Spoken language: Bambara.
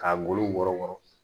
K'a golo wɔrɔ